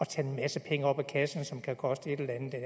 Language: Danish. tage en masse penge op af kassen som kan koste et eller andet